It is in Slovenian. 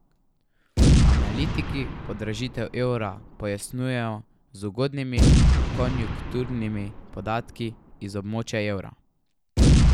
Analitiki podražitev evra pojasnjujejo z ugodnimi konjunkturnimi podatki iz območja evra.